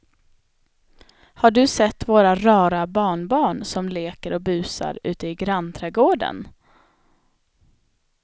Har du sett våra rara barnbarn som leker och busar ute i grannträdgården!